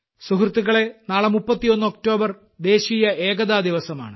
സുഹൃത്തുക്കളെ നാളെ 31 ഒക്ടോബർ ദേശീയ ഏകതാദിവസമാണ്